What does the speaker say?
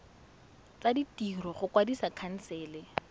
tsa ditiro go kwadisa khansele